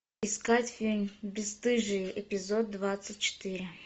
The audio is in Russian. искать фильм бесстыжие эпизод двадцать четыре